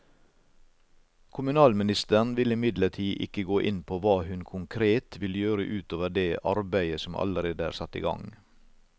Kommunalministeren vil imidlertid ikke gå inn på hva hun konkret vil gjøre ut over det arbeidet som allerede er satt i gang.